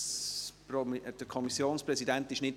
Allerdings ist der Kommissionspräsident nicht hier.